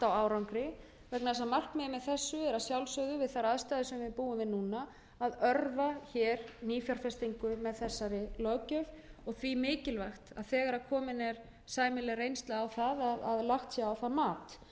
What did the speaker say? árangri vegna þess að markmiðið með þessu er að sjálfsögðu við þær aðstæður sem við búum við núna að örva hér nýfjárfestingu með þessari löggjöf og því mikilvægt að þegar komin er sæmileg reynsla á að lagt sé á það mat en þessi